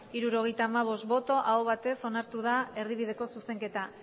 hirurogeita hamabost bai aho batez onartu da erdibideko zuzenketa